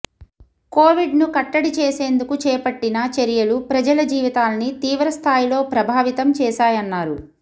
కొవిడ్ను కట్టడి చేసేందుకు చేపట్టిన చర్యలు ప్రజల జీవితాల్ని తీవ్ర స్థాయిలో ప్రభావితం చేశాయన్నారు